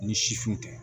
Ni sifin tɛ